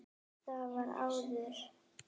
Það var áður.